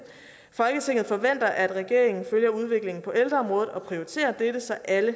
folketinget forventer at regeringen følger udviklingen på ældreområdet og prioriterer dette så alle